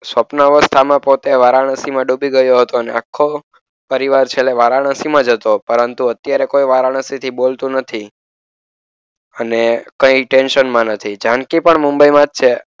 સ્વપ્ન અવસ્થામાં પોતે વારાણસીમાં ડૂબી ગયો હતો. અને આખો પરિવાર છેલ્લે વારાણસીમાં જ હતો પરંતુ અત્યારે કોઈ વારાણસી થી બોલતું નથી. અને કઈ ટેન્શનમાં નથી જાનકી પણ મુંબઈમાં જ છે.